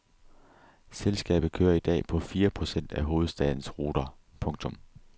Selskabet kører i dag på fire procent af hovedstadens ruter. punktum